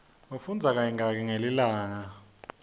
ufundza kayingaki ngelilanga